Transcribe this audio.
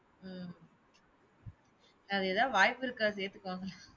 உம் அது ஏதாது வாய்ப்பு இருக்கா சேத்து பாப்போம்.